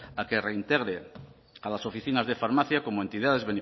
a que reintegre a las oficinas de farmacia como entidades